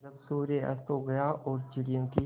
जब सूर्य अस्त हो गया और चिड़ियों की